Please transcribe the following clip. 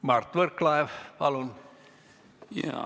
Mart Võrklaev, palun!